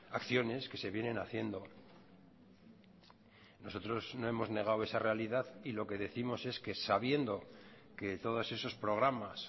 acciones que se vienen haciendo nosotros no hemos negado esa realidad y lo que décimos es que sabiendo que todos esos programas